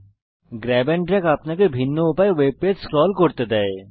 grab and drag আপনাকে ভিন্ন উপায়ে ওয়েব পেজ স্ক্রল করতে দেয়